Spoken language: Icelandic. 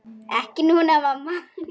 Ekki núna, mamma.